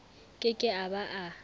ke ke a ba a